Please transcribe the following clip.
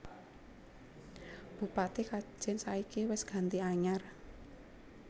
Bupati Kajen saiki wes ganti anyar